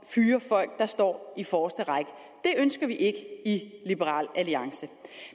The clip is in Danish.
fyre folk der står i forreste række det ønsker vi ikke i liberal alliance